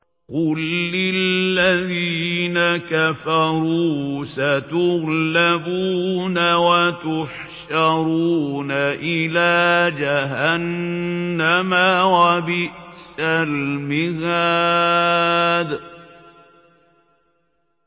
قُل لِّلَّذِينَ كَفَرُوا سَتُغْلَبُونَ وَتُحْشَرُونَ إِلَىٰ جَهَنَّمَ ۚ وَبِئْسَ الْمِهَادُ